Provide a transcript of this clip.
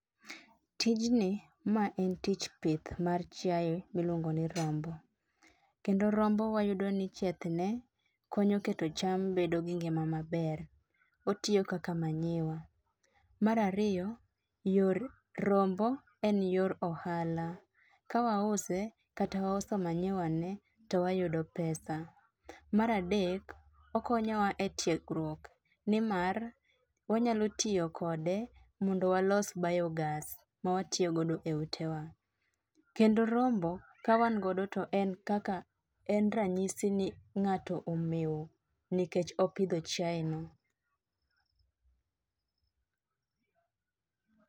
Tijni ma en tich pith mar chiaye miluongo ni rombo. Kendo rombo wayudo ni chiethne konyo keto cham bedo gi ngima maber. Otiyo kaka manyiwa. Mar ariyo, yor rombo en yor ohala. Ka wause kata wauso manyiwane to wayudo pesa. Mar adek, okonyowa e tiegruok nimar wanyalo tiyo kode mondo walos bayogas ma watiyo go e ute wa. Kendo rombo ka wan godo to en kaka en ranyisi ni ng'ato omew nikech opidho chiaye ni.